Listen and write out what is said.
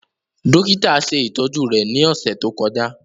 Dokita ṣe itọju rẹ ni ọsẹ to kọja.